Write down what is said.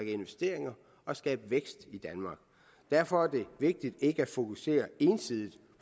investeringer og skabe vækst i danmark derfor er det vigtigt ikke at fokusere ensidigt